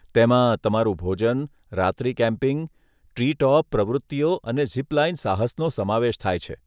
તેમાં તમારું ભોજન, રાત્રી કેમ્પિંગ, ટ્રી ટોપ પ્રવૃત્તિઓ અને ઝિપ લાઇન સાહસનો સમાવેશ થાય છે.